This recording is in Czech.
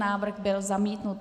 Návrh byl zamítnut.